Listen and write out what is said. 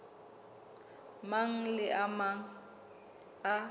mang le a mang a